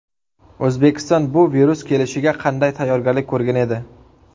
O‘zbekiston bu virus kelishiga qanday tayyorgarlik ko‘rgan edi?